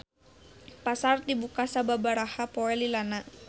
Pasar dibuka sababaraha poe lilana.